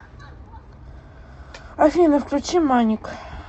афина включи маник